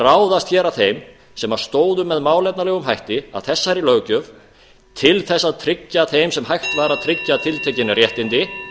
ráðast að þeim sem stóðu með málefnalegum hætti að þessari löggjöf til að tryggja þeim sem hægt var að tryggja tiltekin réttindi